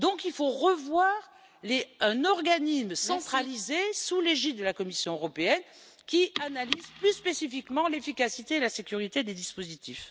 Il faut donc envisager un organisme centralisé sous l'égide de la Commission européenne qui analyse plus spécifiquement l'efficacité et la sécurité des dispositifs.